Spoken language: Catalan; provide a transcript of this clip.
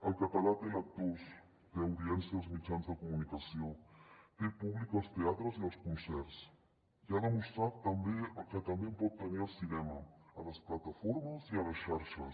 el català té lectors té audiència als mitjans de comunicació té públic als teatres i als concerts i ha demostrat que també en pot tenir al cinema a les plataformes i a les xarxes